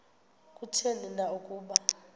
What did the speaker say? kutheni na ukuba